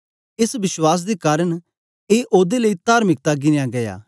एस विश्वास दे कारन ए ओदे लेई तार्मिकता गिनया गीया